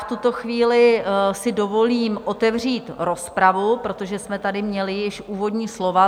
V tuto chvíli si dovolím otevřít rozpravu, protože jsme tady měli již úvodní slova.